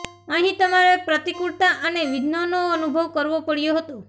અહીં તમારે પ્રતિકૂળતા અને વિઘ્નોનો અનુભવ કરવો પડયો હતો